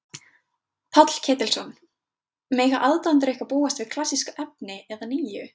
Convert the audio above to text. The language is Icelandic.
Páll Ketilsson: Mega aðdáendur ykkar búast við klassísku efni eða nýju?